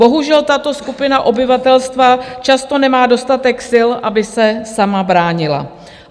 Bohužel, tato skupina obyvatelstva často nemá dostatek sil, aby se sama bránila.